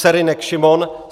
Serynek Šimon